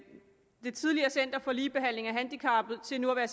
det tidligere center for ligebehandling af handicappede til nu at